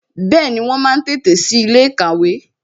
Bẹẹni, wọn máa tètè sí ilé ìkàwé